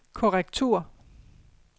korrektur